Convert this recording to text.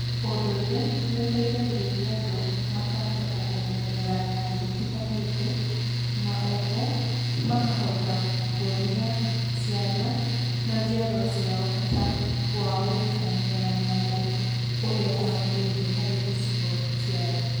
Ũndũire nĩ ũteithagĩrĩria andũ mkahota kũmenyerera nyamũ itiganĩte na oho makahota kuonia ciana na njiarwa ciao bata wao gũikarania na nyamũ ũrĩa kwagĩrĩire harĩ gĩcigo cĩao.